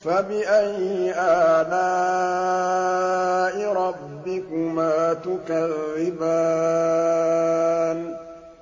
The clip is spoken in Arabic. فَبِأَيِّ آلَاءِ رَبِّكُمَا تُكَذِّبَانِ